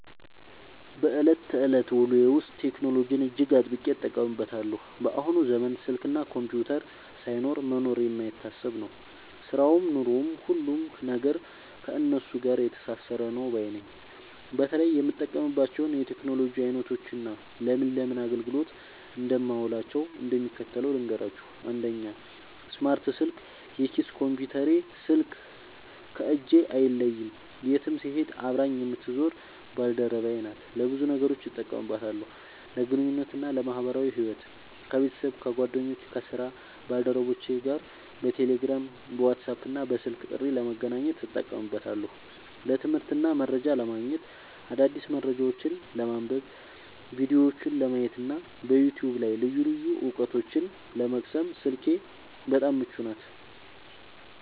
በዕለት ተዕለት ውሎዬ ውስጥ ቴክኖሎጂን እጅግ አጥብቄ እጠቀምበታለሁ። በአሁኑ ዘመን ስልክና ኮምፒውተር ሳይኖሩ መኖር የማይታሰብ ነው፤ ሥራውም ኑሮውም፣ ሁሉም ነገር ከእነሱ ጋር የተሳሰረ ነው ባይ ነኝ። በተለይ የምጠቀምባቸውን የቴክኖሎጂ ዓይነቶችና ለምን ለምን አገልግሎት እንደማውላቸው እንደሚከተለው ልንገራችሁ፦ 1. ስማርት ስልክ (የኪስ ኮምፒውተሬ) ስልክ ከእጄ አይለይም፤ የትም ስሄድ አብራኝ የምትዞር ባልደረባዬ ናት። ለብዙ ነገሮች እጠቀምባታለሁ፦ ለግንኙነትና ለማኅበራዊ ሕይወት፦ ከቤተሰብ፣ ከጓደኞቼና ከሥራ ባልደረቦቼ ጋር በቴሌግራም፣ በዋትስአፕና በስልክ ጥሪ ለመገናኘት እጠቀምበታለሁ። ለትምህርትና መረጃ ለማግኘት፦ አዳዲስ መረጃዎችን ለማንበብ፣ ቪዲዮዎችን ለማየትና በዩቲዩብ ላይ ልዩ ልዩ ዕውቀቶችን ለመቅሰም ስልኬ በጣም ምቹ ናት።